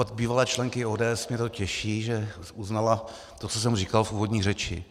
Od bývalé členky ODS mě to těší, že uznala to, co jsem říkal v úvodní řeči.